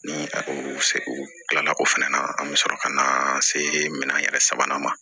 Ni a ko sela ko fɛnɛ na an bɛ sɔrɔ ka na se minɛn yɛrɛ sabanan ma